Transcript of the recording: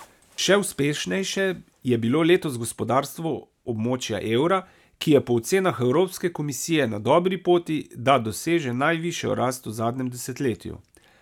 Še uspešnejše je bilo letos gospodarstvo območja evra, ki je po ocenah Evropske komisije na dobri poti, da doseže najvišjo rast v zadnjem desetletju.